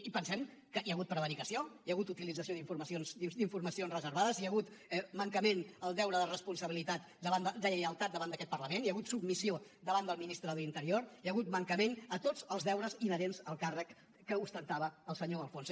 i pensem que hi ha hagut prevaricació hi hagut utilització d’informacions reservades hi ha hagut mancament al deure de responsabilitat de lleialtat davant d’aquest parlament hi ha hagut submissió davant del ministre de l’interior hi ha hagut mancament a tots els deures inherents al càrrec que ostentava el senyor de alfonso